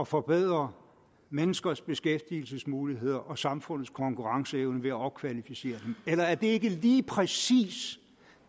forbedre menneskers beskæftigelsesmuligheder og samfundets konkurrenceevne ved at opkvalificere dem eller er det ikke lige præcis